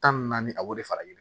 Tan ni naani a b'o de fara i bolo